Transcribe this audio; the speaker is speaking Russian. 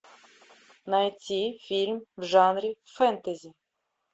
найти фильм в жанре фэнтези